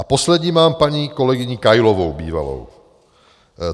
A poslední mám paní kolegyni Kailovou, bývalou.